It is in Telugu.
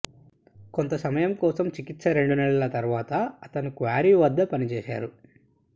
కొంత సమయం కోసం చికిత్స రెండు నెలల తరువాత అతను క్వారీ వద్ద పనిచేశారు